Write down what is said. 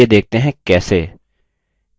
चलिए देखते हैं कैसे